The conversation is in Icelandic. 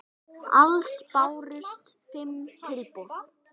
Alls bárust fimm tilboð.